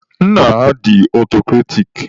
Nna ha dị ọtọcrati.